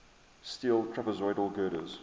steel trapezoidal girders